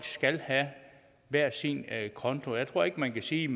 skal have hver sin konto jeg tror ikke man kan sige